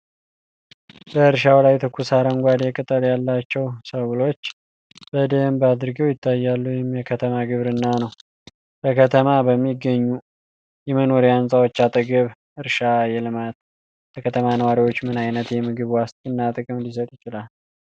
በእርሻው ላይ ትኩስ አረንጓዴ ቅጠል ያላቸው ሰብሎች በደንብ አድገው ይታያሉ፤ ይህም የከተማ ግብርና ነው። በከተማ በሚገኙ የመኖሪያ ሕንጻዎች አጠገብ እርሻ ማልማት ለከተማ ነዋሪዎች ምን ዓይነት የምግብ ዋስትና ጥቅም ሊሰጥ ይችላል?